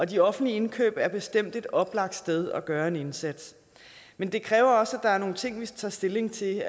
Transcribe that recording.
de offentlige indkøb er bestemt et oplagt sted at gøre en indsats men det kræver også at der er nogle ting som vi tager stilling til